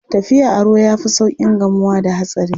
Tafiya a ruwa ya fi sauƙin gamuwa da hatsari.